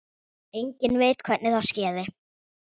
Enginn veit hvernig það skeði.